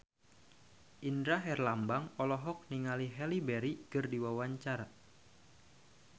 Indra Herlambang olohok ningali Halle Berry keur diwawancara